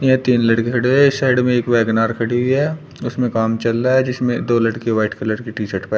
यहां तीन लड़के खड़े है। साइड में एक वेगेनार खड़ी हुई है उसमें काम चल रहा है जिसमें दो लड़के बैठ के लड़के व्हाइट कलर की टी शर्ट पहन--